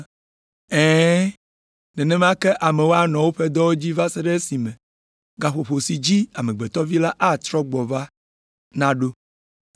Ɛ̃, nenema ke amewo anɔ woƒe dɔwo dzii va se ɖe esime gaƒoƒo si dzi Amegbetɔ Vi atrɔ gbɔ la naɖo.